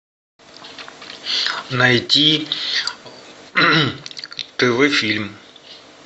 найти тв фильм